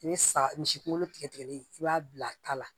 I bɛ sa misi kunkolo tigɛli i b'a bila ta la